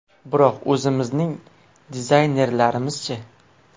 Biroq o‘zimizning dizaynerlarimiz-chi?